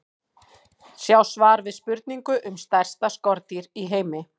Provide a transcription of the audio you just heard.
Sjá svar við spurningu um stærsta skordýr í heimi.